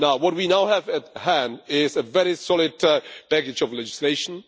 What we now have at hand is a very solid package of legislation.